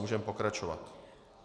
Můžeme pokračovat.